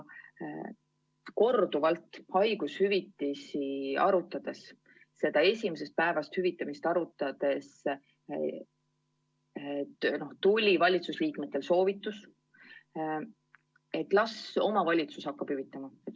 Korduvalt haigushüvitisi, ka seda esimesest päevast hüvitamist arutades tuli valitsuse liikmetelt soovitus, et las omavalitsus hakkab hüvitama.